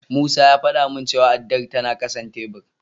Musa ya faɗa min cewa addar tana ƙasan tebur.